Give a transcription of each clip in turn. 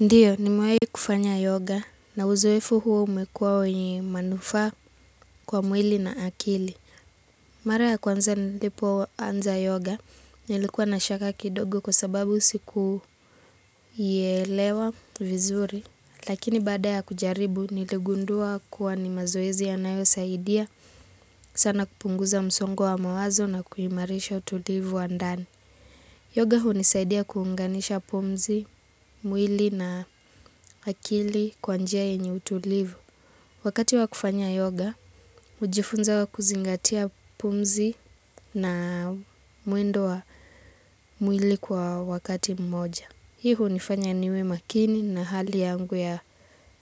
Ndiyo nimewahi kufanya yoga na uzoefu huo umekuwa wenye manufaa kwa mwili na akili. Mara ya kwanza nilipoanza yoga nilikuwa na shaka kidogo kwa sababu sikuielewa vizuri. Lakini baada ya kujaribu niligundua kuwa ni mazoezi yanayosaidia sana kupunguza msongo wa mawazo na kuimarisha utulivu wa ndani. Yoga hunisaidia kuunganisha pumzi, mwili na akili kwa njia yenye utulivu. Wakati wa kufanya yoga, hujifunza wa kuzingatia pumzi na mwendo wa mwili kwa wakati mmoja. Hii hunifanya niwe makini na hali yangu ya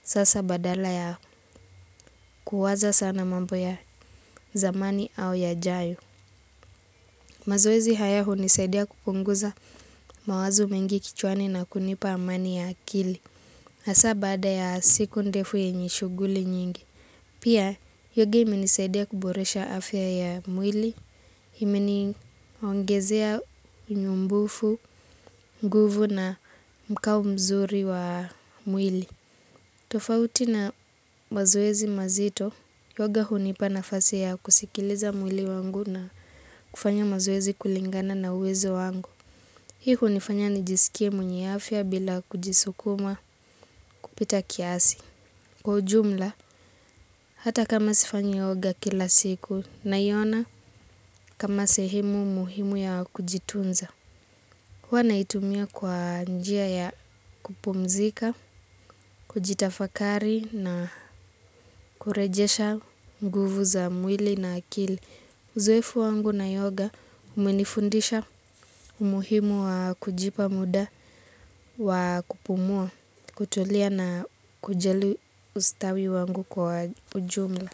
sasa badala ya kuwaza sana mambo ya zamani au yajayo. Mazoezi haya hunisaidia kupunguza mawazo mengi kichwani na kunipa amani ya akili. Hasa baada ya siku ndefu yenye shughuli nyingi. Pia, yoga imenisaidia kuboresha afya ya mwili, imeniongezea unyumbufu, nguvu na mkao mzuri wa mwili. Tofauti na mazoezi mazito, yoga hunipa nafasi ya kusikiliza mwili wangu na kufanya mazoezi kulingana na uwezo wangu. Hii hunifanya nijisikie mwenye afya bila kujisukuma kupita kiasi. Kwa ujumla, hata kama sifanyi yoga kila siku, naiona kama sehemu muhimu ya kujitunza. Huwa naitumia kwa njia ya kupumzika, kujitafakari na kurejesha nguvu za mwili na akili. Uzoefu wangu na yoga umenifundisha umuhimu wa kujipa muda wa kupumua, kutulia na kujali ustawi wangu kwa ujumla.